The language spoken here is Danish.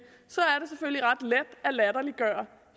er latterliggøre